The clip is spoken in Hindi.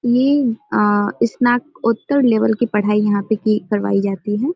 ये आ स्नाकोतर लेवल की पढ़ाई यहाँ पे की करवाई जाती है।